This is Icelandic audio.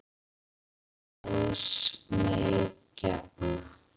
Óðs mey gefna.